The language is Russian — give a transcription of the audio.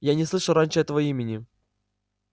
я не слышал раньше этого имени